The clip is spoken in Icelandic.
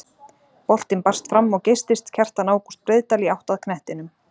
Boltinn barst fram og geystist Kjartan Ágúst Breiðdal í átt að knettinum.